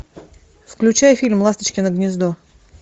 включай фильм ласточкино гнездо